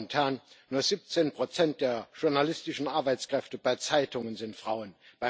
Meine Damen und Herren, nur 17 der journalistischen Arbeitskräfte bei Zeitungen sind Frauen.